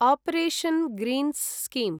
operation greens scheme